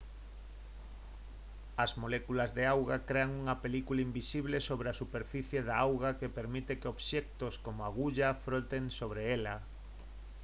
as moléculas de auga crean unha película invisible sobre a superficie da auga que permite que obxectos como a agulla floten sobre ela